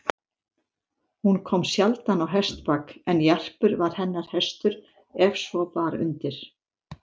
Hún kom sjaldan á hestbak, en Jarpur var hennar hestur ef svo bar undir.